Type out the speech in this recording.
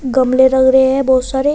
गमले लग रहे है बहोत सारे।